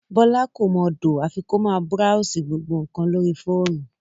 Bọ́lá kò mọ dòò àfi kó máa búráósì gbogbo nǹkan lórí fóònù